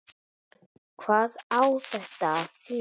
Hvað á þetta að þýða!